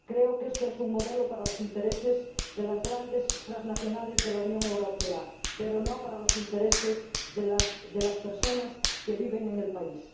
Creo que este es un modelo para los intereses de las grandes transnacionales de la Unión Europea, pero no para los intereses de las personas que viven en el país.